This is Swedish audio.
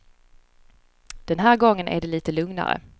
Den här gången är det lite lugnare.